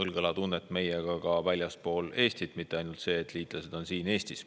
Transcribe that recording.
õlg õla tunnet meiega ka väljaspool Eestit, mitte ainult see, et liitlased on siin Eestis.